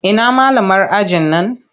Ina malamar ajin nan?